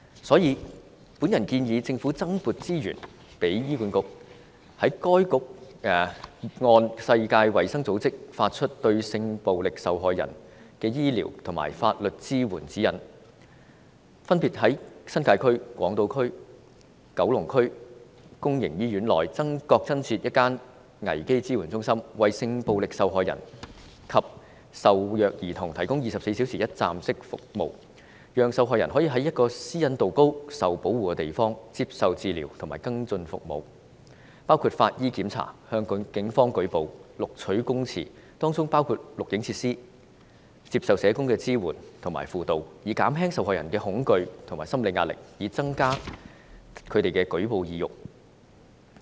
所以，我建議政府增撥資源予醫院管理局，讓該局按世界衞生組織發出的《對性暴力受害人之醫療及法律支援指引》，分別於新界、港島及九龍區公營醫院內各增設一間危機支援中心，為性暴力受害人及受虐兒童提供24小時一站式服務，讓受害人可在私隱度高和受保護的地方接受治療及跟進服務，包括法醫檢查、向警方舉報和錄取供詞，當中包括錄影設施、接受社工支援和輔導，以減輕受害人的恐懼和心理壓力，以及增加她們的舉報意欲。